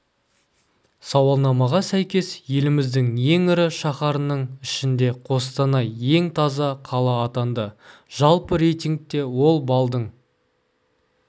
сауалнамаға сәйкес еліміздің ең ірі шаһарының ішінде қостанай ең таза қала атанды жалпы рейтингте ол балдың